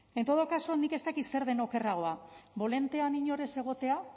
en todo caso nik ez dakit zer den okerragoa bolantean inor ez egotea